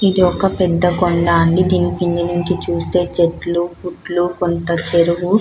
ఇది ఒక పెద్ద కొండ అండి దీని కింద నుండి చుస్తే చెట్లు పుట్లు కొంత చెరువు --